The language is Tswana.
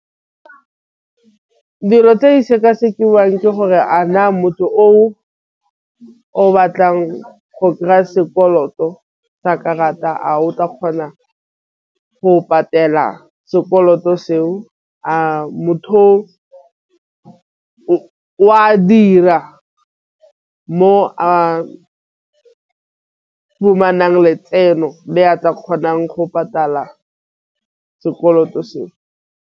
Dilo tse e sekasekiwa ke gore a na motho o o batlang go kry-a sekoloto sa karata a o tla kgona go patela sekoloto seo a motho o a dira mo a letseno le a tla kgonang go patala sekoloto seo.